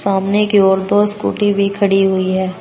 सामने की ओर दो स्कूटी भी खड़ी हुई है।